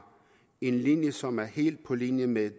en linje som er helt på linje med